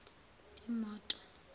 imoto